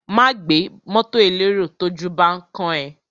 Má gbé mọ́tọ̀ elérò tójú bán kán ẹ.